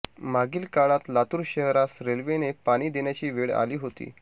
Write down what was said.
मागील काळात लातूर शहरास रेल्वेने पाणी देण्याची वेळ आली होती